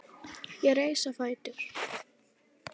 Ég reis á fætur.